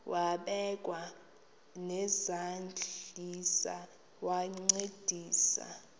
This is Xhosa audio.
wabekwa nezandls wancedisa